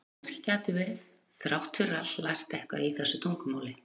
en kannski gætum við þrátt fyrir allt lært eitthvað í þessu tungumáli